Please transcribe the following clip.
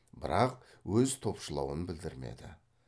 бірақ өз топшылауын білдірмеді